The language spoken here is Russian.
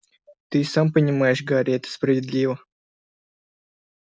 ты и сам понимаешь гарри это справедливо